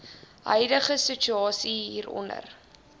huidige situasie hieronder